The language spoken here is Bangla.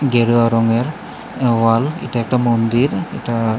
গেরুয়া রঙের ওয়াল এটা একটা মন্দির এটা।